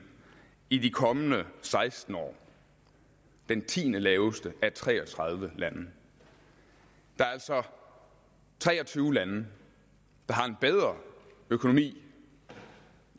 i de kommende seksten år den tiendelaveste af tre og tredive lande der er altså tre og tyve lande der har en bedre økonomi